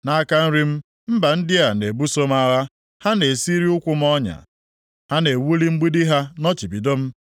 Nʼaka nri m mba ndị a na-ebuso m agha. Ha na-esiri ụkwụ m ọnya, ha na-ewuli mgbidi ha nọchibido m.